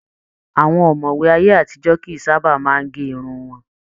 Àwọn ọmọwé ayé àtijọ kìí sábà máa n gé irun wọn.